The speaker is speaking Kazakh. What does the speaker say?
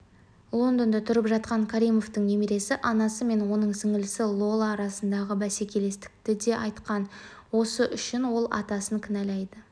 лондонда тұрып жатқан каримовтың немересі анасы мен оның сіңлісі лола арасындағы бәскелестікті де айтқан осы үшін ол атасын кінәлайды